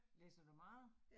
Læser du meget?